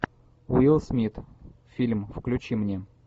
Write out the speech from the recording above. уилл смит фильм включи мне